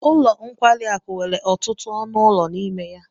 Ụlọ nkwari akụ nwere ọtụtụ ọnụ ụlọ n'ime ya